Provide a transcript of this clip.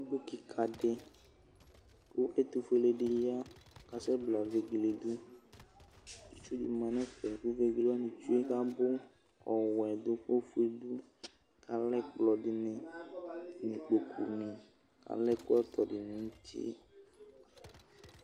Owu kɩka dɩ kʋ ɛtʋ fuele dɩ ya ,kasɛ bla vegele dʋ,itsu dɩ ma nɛfɛ kʋ vegele wanɩ tsue abʋ, ɔwɛ dʋ ofue dʋ,alɛ ɛkplɔ dɩnɩ,kpoku nɩ ,alɛkplɔtɔ nɩ nuti